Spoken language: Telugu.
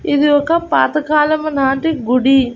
ఇది ఒక పాత కాలము నాటి గుడి.